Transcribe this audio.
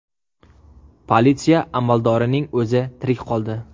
Politsiya amaldorining o‘zi tirik qoldi.